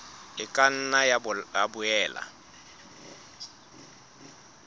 e ka nna ya boela